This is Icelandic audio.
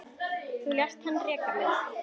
Þú lést hann reka mig